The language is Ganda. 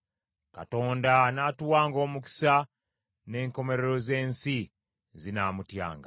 Katonda anaatuwanga omukisa; n’enkomerero z’ensi zinaamutyanga.